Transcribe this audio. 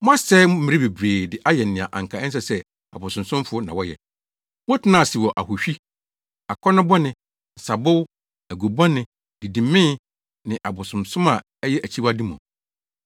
Moasɛe mmere bebree de ayɛ nea anka ɛsɛ sɛ abosonsomfo na wɔyɛ. Motenaa ase wɔ ahohwi, akɔnnɔbɔne, nsabow, agobɔne, didimee ne abosonsom a ɛyɛ akyiwade mu.